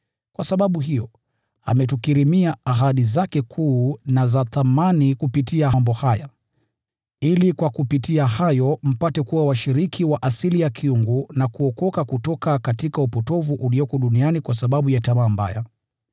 Kwa sababu hiyo, ametukirimia ahadi zake kuu na za thamani kupitia mambo haya, ili kupitia hayo mpate kuwa washiriki wa asili ya uungu, na kuokoka kutoka upotovu ulioko duniani unaosababishwa na tamaa mbaya.